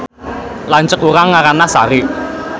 Lanceuk urang ngaranna Sari